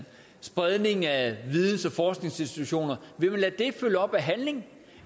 spredning af videns og forskningsinstitutioner følge op af handling